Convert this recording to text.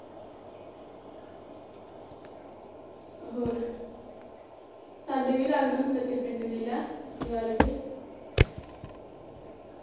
ਹੋਰ ਸਾਡੇ ਵੀ ਲਗਦਾ ਹੁੰਦਾ ਇਥੇ ਪਿੰਡ ਮੇਲਾ ਦੀਵਾਲੀ ਤੇ